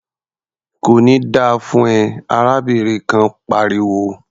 "Kò ní da fún ẹ!" arábìnrin kan pariwo.